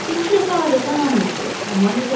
Birinci dəfə adətən hamı yıxılır, amma ləzzət verir.